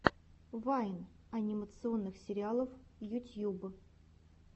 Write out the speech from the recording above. вайн анимационных сериалов ютьюб